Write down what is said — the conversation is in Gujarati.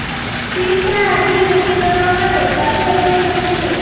સ્થિરતા હાજરી નક્કી કરવા માટે જાતે હોઈ શકે છે